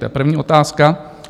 To je první otázka.